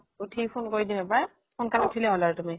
উঠিয়ে phone কৰি দিম এবাৰ, সোনাকালো উঠিলে হল আৰু তুমি।